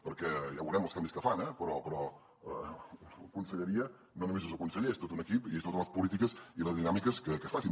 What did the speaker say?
perquè ja veurem els canvis que fan eh però una conselleria no només és el conseller és tot un equip i són totes les polítiques i les dinàmiques que es facin